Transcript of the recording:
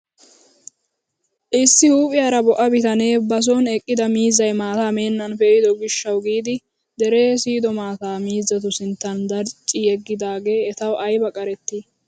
Issi huuphphiyaara bo"a bitanee ba soni eqqida miizzay maataa meenan pe'ido giishshawu giidi deree siyodo maataa miizzatu sinttan darcci yeggidagee ayba etawu qarettii!